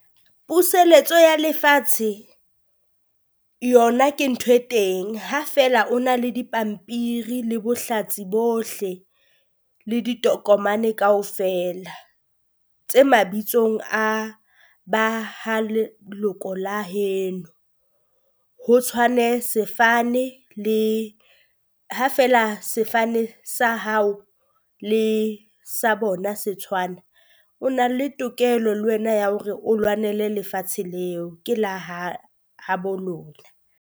Puseletso ya lefatshe yona ke ntho e teng ha feela o na le dipampiri le bohlatsi bohle le ditokomane kaofela tse mabitsong a ba ha leloko la heno. Ho tshwane sefane le ha feela sefane sa hao le sa bona se tshwana, o na le tokelo le wena ya hore o lwanele lefatshe leo ke le ha ha bo lona.